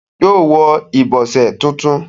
yóò wọ ìbọ̀sẹ̀ tuntun.